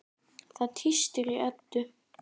Það tístir í Eddu.